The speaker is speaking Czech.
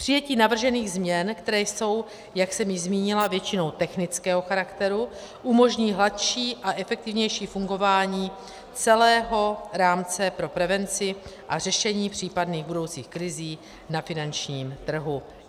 Přijetí navržených změn, které jsou, jak jsem již zmínila, většinou technického charakteru, umožní hladší a efektivnější fungování celého rámce pro prevenci a řešení případných budoucích krizí na finančním trhu.